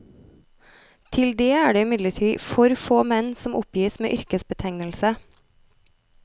Til det er det imidlertid for få menn som oppgis med yrkesbetegnelse.